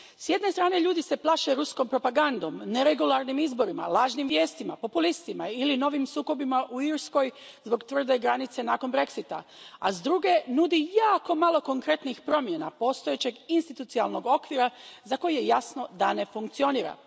S jedne strane ljudi se plaše ruskom propagandom, neregularnim izborima, lažnim vijestima, populistima ili novim sukobima u Irskoj zbog tvrde granice nakon Brexita, a s druge, nudi jako malo konkretnih promjena postojećeg institucionalnog okvira za koji je jasno da ne funkcionira.